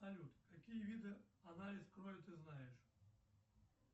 салют какие виды анализ крови ты знаешь